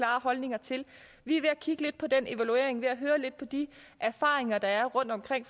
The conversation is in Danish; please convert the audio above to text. holdninger til vi er ved at kigge lidt på den evaluering og ved at høre lidt på de erfaringer der er rundtomkring